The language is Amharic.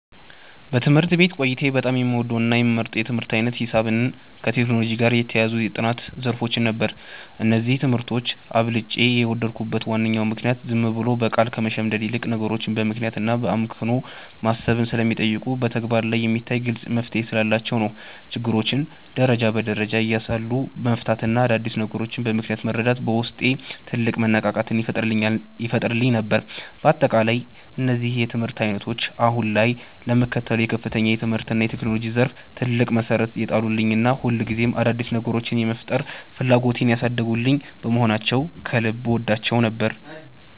በትምህርት ቤት ቆይታዬ በጣም የምወደውና የምመርጠው የትምህርት ዓይነት ሂሳብንና ከቴክኖሎጂ ጋር የተያያዙ የጥናት ዘርፎችን ነበር። እነዚህን ትምህርቶች አብልጬ የወደድኩበት ዋናው ምክንያት ዝም ብሎ በቃል ከመሸምደድ ይልቅ፣ ነገሮችን በምክንያትና በአመክንዮ ማሰብን ስለሚጠይቁና በተግባር ላይ የሚታይ ግልጽ መፍትሔ ስላላቸው ነው። ችግሮችን ደረጃ በደረጃ እያሰሉ መፍታትና አዳዲስ ነገሮችን በምክንያት መረዳት በውስጤ ትልቅ መነቃቃትን ይፈጥርልኝ ነበር። በአጠቃላይ እነዚህ የትምህርት ዓይነቶች አሁን ላይ ለምከተለው የከፍተኛ ትምህርትና የቴክኖሎጂ ዘርፍ ትልቅ መሠረት የጣሉልኝና ሁልጊዜም አዳዲስ ነገሮችን የመፍጠር ፍላጎቴን ያሳደጉልኝ በመሆናቸው ከልብ እወዳቸው ነበር።